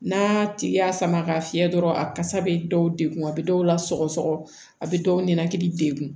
N'a tigi y'a sama ka fiyɛ dɔrɔn a kasa bɛ dɔw degun a bɛ dɔw la sɔgɔsɔgɔ a bɛ dɔw ninakili degun